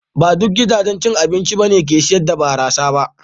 Ba duk gidajen cin abinci ba ne ke sayar da barasa.